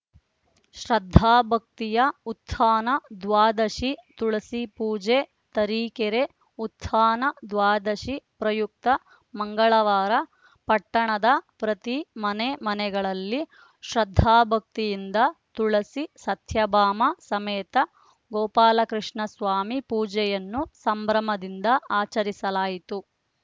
ಶ್ರದ್ಧಾಭಕ್ತಿಯ ಉತ್ಥಾನ ದ್ವಾದಶಿ ತುಳಸಿ ಪೂಜೆ ತರೀಕೆರೆ ಉತ್ಥಾನ ದ್ವಾದಶಿ ಪ್ರಯುಕ್ತ ಮಂಗಳವಾರ ಪಟ್ಟಣದ ಪ್ರತಿ ಮನೆ ಮನೆಗಳಲ್ಲಿ ಶ್ರದ್ಧಾಭಕ್ತಿಯಿಂದ ತುಳಸಿ ಸತ್ಯಭಾಮ ಸಮೇತ ಗೋಪಾಲಕೃಷ್ಣಸ್ವಾಮಿ ಪೂಜೆಯನ್ನು ಸಂಭ್ರಮದಿಂದ ಆಚರಿಸಲಾಯಿತು